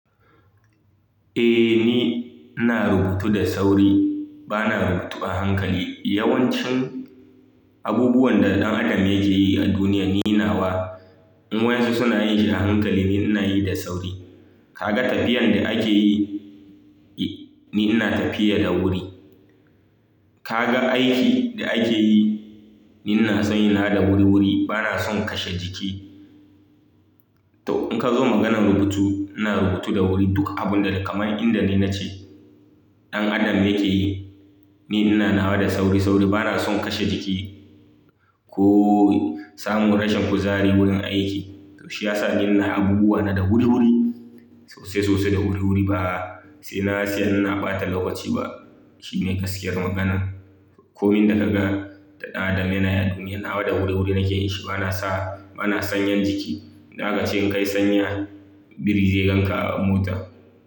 Eh, ni ina rubutu da sauri, bana rubutu a hankali. Yawancin abubuwan da ɗan adam yake yi a duniya ni nawa in wayansu suna yin shi a hankali ni ina yi da sauri. Kaga tafiyan da ake yi, ni ina tafiya da wuri. Kaga aiki da ake yi, ni ina san yin nawa da wuri wuri bana son kashe jiki. To in ka zo maganan rubutu ina rubutu da wuri duka abun da kamar inda ni nace ɗan adam yake yi, ni ina nawa da sauri sauri bana son kashe jiki. Ko samu rashin kuzari wurin aiki. To shi ya sa ni na abubuwa na da wuri wuri, sosai sosai da wuri wuri ba sai na, tsaya ina ɓata lokaci ba. Shi ne gaskiyar magana. Komai da ka ga da ɗan adam yana yi a duniya nawa da wuri wuri nake yin shi bana sa, bana sanyan jiki. Da aka ce kai sanya biri zai ganka a mota.